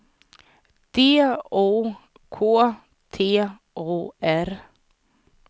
D O K T O R